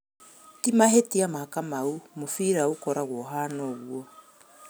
Ti mahĩtia ma Kamau, mũbira ũkoragwo ũhana ũgũo.